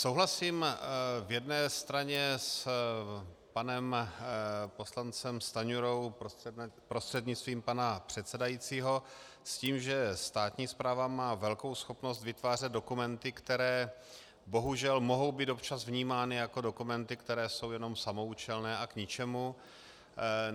Souhlasím v jedné straně s panem poslancem Stanjurou, prostřednictvím pana předsedajícího, s tím, že státní správa má velkou schopnost vytvářet dokumenty, které bohužel mohou být občas vnímány jako dokumenty, které jsou jenom samoúčelné a k ničemu.